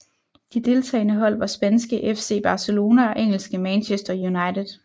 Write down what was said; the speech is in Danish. De deltagende hold var spanske FC Barcelona og engelske Manchester United